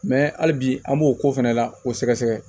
Mɛ hali bi an b'o ko fɛnɛ la k'o sɛgɛsɛgɛ